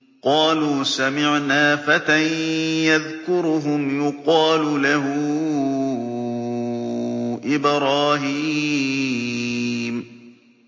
قَالُوا سَمِعْنَا فَتًى يَذْكُرُهُمْ يُقَالُ لَهُ إِبْرَاهِيمُ